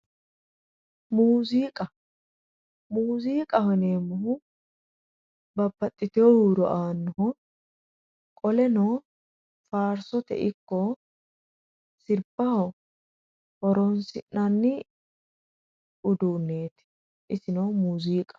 Muziiqa, muziiqaho yineemmohu babbaxitino huuro aanoho qoleno faarsote ikko sirbaho horonsinanni uduuneti isino muziiqaho.